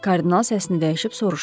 Kardinal səsini dəyişib soruşdu.